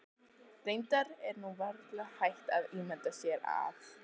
Reyndar er nú varla hægt að ímynda sér að